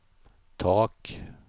tak